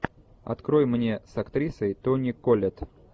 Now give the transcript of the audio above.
открой мне с актрисой тони коллетт